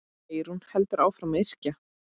Eyrún heldur áfram að yrkja.